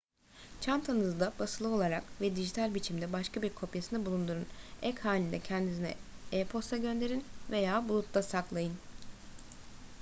çantanızda basılı olarak ve dijital biçimde başka bir kopyasını bulundurun ek halinde kendinize e-posta gönderin veya bulutta saklayın